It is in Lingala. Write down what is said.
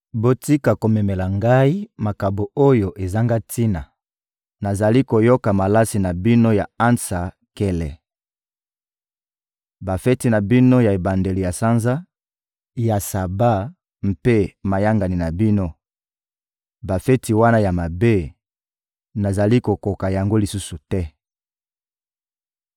Botika komemela Ngai makabo oyo ezanga tina! Nazali koyoka malasi na bino ya ansa nkele. Bafeti na bino ya ebandeli ya sanza, ya Saba mpe mayangani na bino: bafeti wana ya mabe, nazali kokoka yango lisusu te.